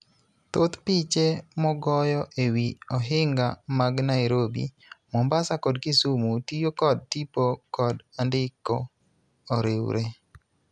Thoth piche mogoyo e wi ohinga mag Nairobi, Mombasa kod Kisumu tiyo kod tipo kod andiko oriwre.